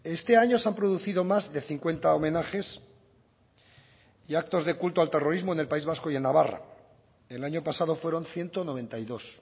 este año se han producido más de cincuenta homenajes y actos de culto al terrorismo en el país vasco y en navarra el año pasado fueron ciento noventa y dos